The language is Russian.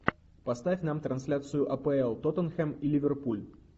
поставь нам трансляцию апл тоттенхэм и ливерпуль